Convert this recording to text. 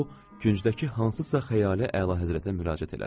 O, küncdəki hansısa xəyali əlahəzrətə müraciət elədi.